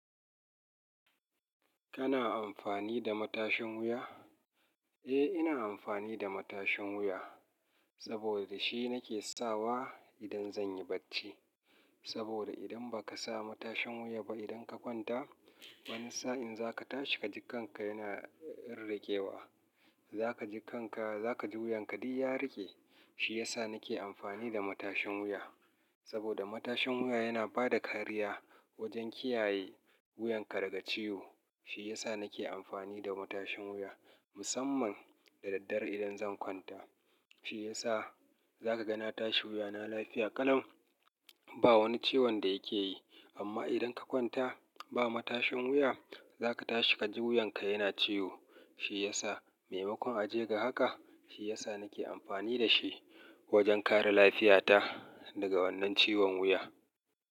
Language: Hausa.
Kana amfani da matashin wuya? Eh, ina amfani da matashin wuya saboda shi nake sawa idan zan yi bacci. Saboda idan ba ka sa matashin wuya ba, idan ka kwanta wani sa'in za ka tashi ka ji kanka yana rinriƙe wa. Za ka ji kanka, za ka ji wuyanka duk ya riƙe. Shi ya sa nake amfani da matashin wuya. Saboda matashin wuya yana ba da kariya wajen kiyaye wuyanka daga ciwo. Shi ya sa nake amfani da matashin wuya musamman da daddare idan zan kwanta. Shi ya sa za ka ga na tashi wuyana lafiya ƙalau. Ba wani ciwon da yake yi. Amma idan ka kwanta ba matashin wuya, za ka tashi ka ji wuyanka yana ciwo. Shi ya sa maimakon a je ga haka, shi ya sa nake amfani da shi wajen kare lafiyata daga wannan ciwon wuya.